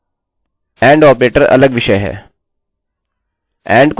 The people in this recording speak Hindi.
and ऑपरेटर अलग विषय है